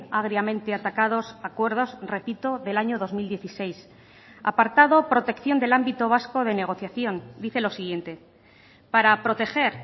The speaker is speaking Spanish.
agriamente atacados acuerdos repito del año dos mil dieciséis apartado protección del ámbito vasco de negociación dice lo siguiente para proteger